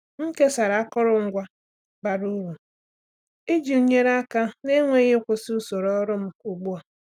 M kesara akụrụngwa bara uru iji nyere aka na-enweghị ịkwụsị usoro ọrụ m ugbu a.